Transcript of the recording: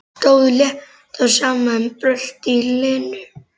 Stóð slétt á sama um bröltið í Lenu.